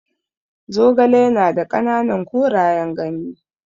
Zogale ya na da ƙananan korayen ganye.